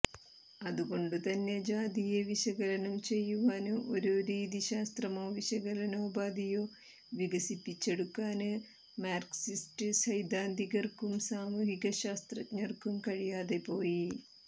അതുകൊണ്ടു തന്നെ ജാതിയെ വിശകകലനം ചെയ്യുവാന് ഒരു രീതിശാസ്ത്രമോ വിശകലനോപാധിയോ വികസിപ്പിച്ചെടുക്കാന് മാര്ക്സിസ്റ്റ് സൈദ്ധാന്തികര്ക്കും സാമൂഹികശാസ്ത്രജ്ഞര്ക്കും കഴിയാതെ പോയി